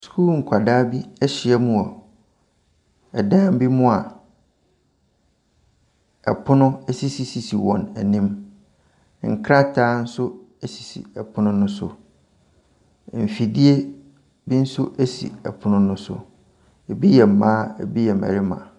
Sukuu nkwadaa bi ahyiam wɔ ɛdan bi mu a ɛpono ɛsisi sisi wɔn anim. Nkrataa nso sisi ɛpono no so. Mfidie nso ɛsi ɛpono no so. Ebi yɛ mmaa ebi yɛ mmarima.